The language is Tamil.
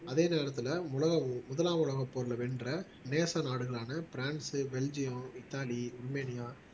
அதே நேரத்துல முலாம் முதலாம் உலகப் போர்ல வென்ற நேச நாடுகளான பிரான்ஸ் பெல்ஜியம் இத்தாலி உருமேனியா